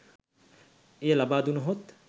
එය ලබා දුනහොත්